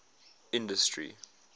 industry